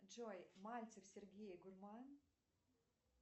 джой мальцев сергей гурман